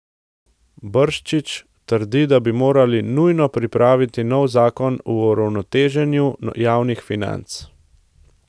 Brščič trdi, da bi morali nujno pripraviti nov zakon o uravnoteženju javnih financ.